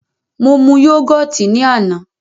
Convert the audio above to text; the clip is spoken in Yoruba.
Mo mu yógọ̀tì ní àná.